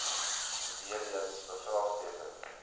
weer eens bevraagteken